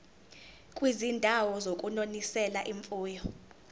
kwizindawo zokunonisela imfuyo